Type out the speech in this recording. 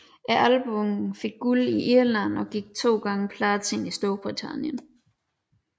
Albummet fik guld i Irland og gik 2x platin i Storbritannien